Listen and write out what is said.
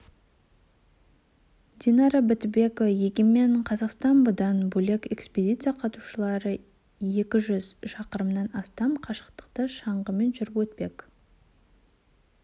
динара бітікова егемен қазақстан бұдан бөлек экспедиция қатысушылары екі жүз шақырымнан астам қашықтықты шаңғымен жүріп өтпек